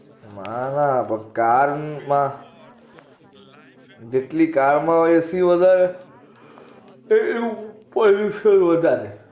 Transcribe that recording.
ના ના car માં જેટલી AC ઓં વધારે એટલું pollution વધારે